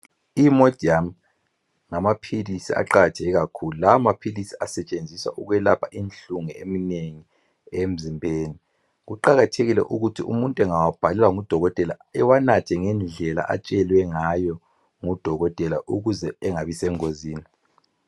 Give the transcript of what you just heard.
I imodium ngamaphilizi aqakatheke kakhulu , lawa amaphilisi asetshenziswa ukwelapha inhlungu eminengi emzimbeni , kuqakathekile ukuthi umuntu engawabhalelwa ngudokotela ewanathe ngendlela atshelwe ngayo ngudokotela ukuze angabi sengozini.